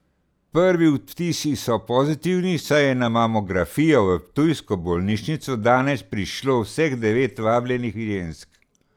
Prvi vtisi so pozitivni, saj je na mamografijo v ptujsko bolnišnico danes prišlo vseh devet vabljenih žensk.